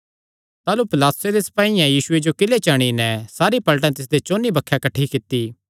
ताह़लू पिलातुसे दे सपाईयां यीशुये जो किले* च अंणी नैं सारी पलटन तिसदे चौंन्नी बक्खे किठ्ठी कित्ती